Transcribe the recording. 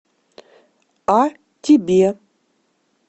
а тебе